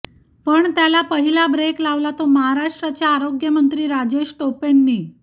पण त्याला पहिला ब्रेक लावला तो महाराष्ट्राचे आरोग्यमंत्री राजेश टोपेंनी